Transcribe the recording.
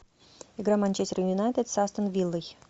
игра манчестер юнайтед с астон виллой